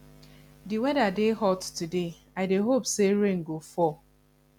di weather dey hot today i dey hope say rain go fall